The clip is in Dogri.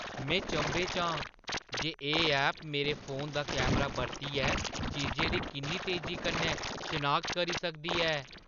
में चंभे च आं जे एह् ऐप मेरे फोनै दा कैमरा बरतियै चीजें दी किन्नी तेजी कन्नै शनाखत करी सकदी ऐ।